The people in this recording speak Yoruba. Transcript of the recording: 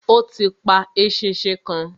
Ó ti pa eṣinṣin kan.